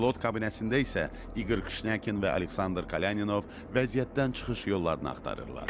Pilot kabinəsində isə İqor Kıshnyakin və Aleksandr Klyaninov vəziyyətdən çıxış yollarını axtarırlar.